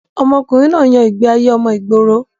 ọmọkùnrin náà yan ìgbé ayé ọmọ ìgboro